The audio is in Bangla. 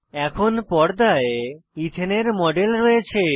এখন পর্দায় এথানে ইথেন এর মডেল রয়েছে